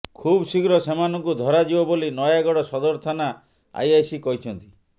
ଖୁବଶୀଘ୍ର ସେମାନଙ୍କୁ ଧରାଯିବ ବୋଲି ନୟାଗଡ଼ ସଦର ଥାନା ଆଇଆଇସି କହିଛନ୍ତି